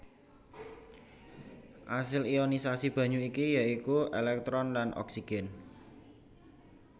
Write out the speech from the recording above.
Asil ionisasi banyu iki ya iku èlèktron lan oksigen